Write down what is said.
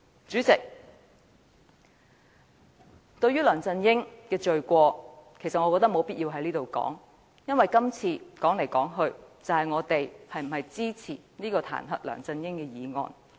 主席，對於梁振英的罪行，我覺得沒有必要在此闡述，因為今次說來說去都是我們是否支持這項彈劾梁振英的議案。